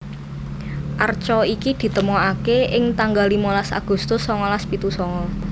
Arca iki ditemokaké ing tanggal limolas Agustus songolas pitu songo